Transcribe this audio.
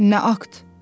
Nə akt?